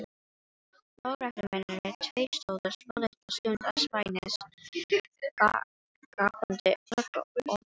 Lögreglumennirnir tveir stóðu svolitla stund andspænis gapandi gluggaopunum.